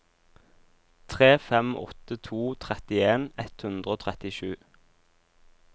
tre fem åtte to trettien ett hundre og trettisju